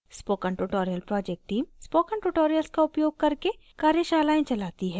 spoken tutorial project team spoken tutorials का उपयोग करके कार्यशालाएं चलाती है